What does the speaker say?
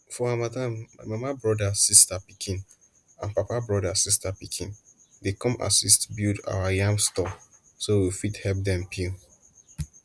for harmattan my mama broda sista pikin and papa broda sista pikin dey come assist build our yam store so we fit help dem peel